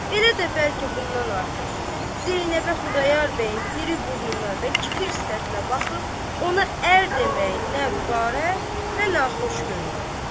Elə də bəlkə bundan artıq Zeynəbə Xudayar bəyin iri burnuna və kifir sifətinə baxıb, ona ər deməyi nə vüqarə və naxuş görünürdü.